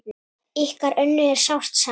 Ykkar Önnu er sárt saknað.